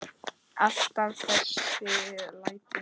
Alltaf þessi læti.